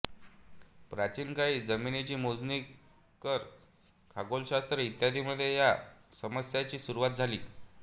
प्राचीन काळी जमिनीची मोजणी कर खगोलशास्त्र इत्यादींमध्ये या समस्यांची सुरुवात झाली